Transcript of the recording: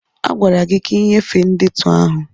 A gwara gị ka ị nyefee ndetu ahụ!